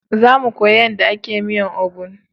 Za mu koya yanda a ke miyan obono